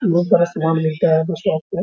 बहुत बड़ा सामान मिलता है उ शॉप में --